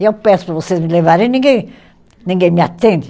E eu peço para vocês me levarem, ninguém ninguém me atende.